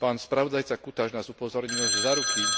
Pán spravodajca Cutaş nás upozornil, že záruky